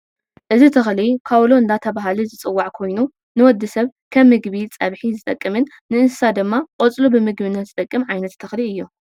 እዚ ተክሊ ካውሎ እንዳተባሃለ ዝፅዋዕ ኮይኑ ንወዲ ሰብ ከም ምግቢ ፀብሒ ዝጠቅምን ንእንስሳ ድማ ቆፅሉ ብምግብነት ዝጠቅም ዓይነት ተክሊ እዩ።